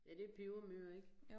Ja det pebermøer ik